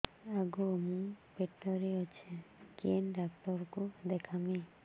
ଆଗୋ ମୁଁ ପେଟରେ ଅଛେ କେନ୍ ଡାକ୍ତର କୁ ଦେଖାମି